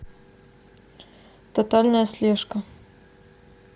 тотальная слежка